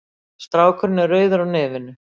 Strákurinn er rauður á nefinu.